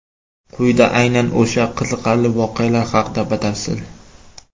Quyida aynan o‘sha qiziqarli voqealar haqida batafsil.